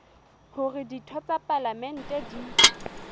hore ditho tsa palamente di